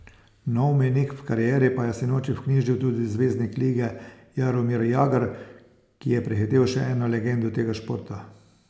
Nov mejnik v karieri pa je sinoči vknjižil tudi zvezdnik lige Jaromir Jagr, ki je prehitel še eno legendo tega športa.